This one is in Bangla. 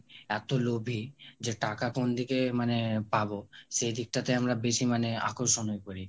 এতো লোভী যে টাকা কোন দিকে মানে পাবো সেই দিকটাতে আমরা বেশি মানে আকর্ষণে পড়ি